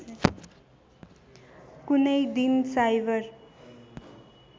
कुनै दिन साइबर